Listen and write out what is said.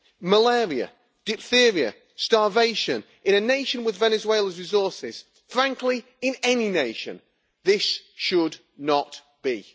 Malaria, diphtheria and starvation in a nation with Venezuela's resources or, frankly, in any nation this should not be.